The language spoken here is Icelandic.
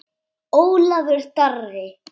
Ólafur Darri.